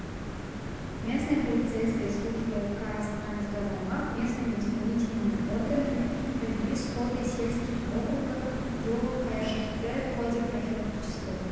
местной полицейской службой казтрансгазаймақ местными исполнительными органами провели сходы сельских округах геолог кайршахты ходе профилактического